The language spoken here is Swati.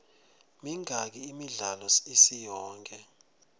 mingaki imidlalo isiyonke